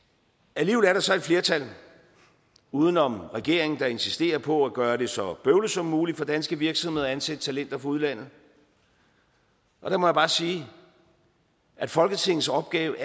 alligevel er der så et flertal uden om regeringen der insisterer på at gøre det så bøvlet som muligt for danske virksomheder at ansætte talenter fra udlandet og der må jeg bare sige at folketingets opgave